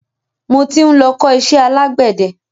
Mo tí ń lọ ń kọ iṣẹ́ alágbẹ̀de.